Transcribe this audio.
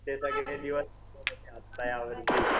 ते सगळे यावर्षी.